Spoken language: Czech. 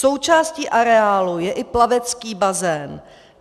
Součástí areálu je i plavecký bazén.